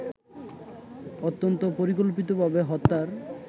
অত্যন্ত পরিকল্পিতভাবে হত্যার